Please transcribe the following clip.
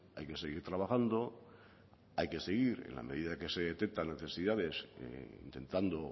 hay que seguir trabajando hay que seguir en la medida que se detectan necesidades intentando